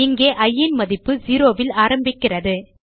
இங்கே இ ன் மதிப்பு 0 ல் ஆரம்பிக்கிறது